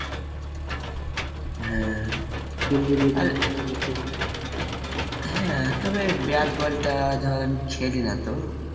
হ্যাঁ তবে bat ball তা ধর আমি খেলি না তো